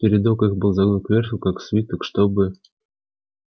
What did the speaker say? передок их был загнут кверху как свиток чтобы